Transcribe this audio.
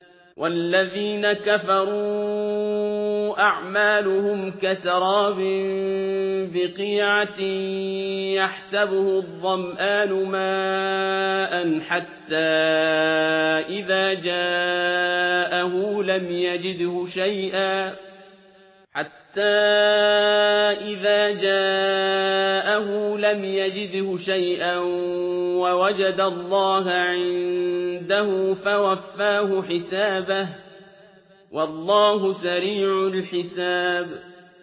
وَالَّذِينَ كَفَرُوا أَعْمَالُهُمْ كَسَرَابٍ بِقِيعَةٍ يَحْسَبُهُ الظَّمْآنُ مَاءً حَتَّىٰ إِذَا جَاءَهُ لَمْ يَجِدْهُ شَيْئًا وَوَجَدَ اللَّهَ عِندَهُ فَوَفَّاهُ حِسَابَهُ ۗ وَاللَّهُ سَرِيعُ الْحِسَابِ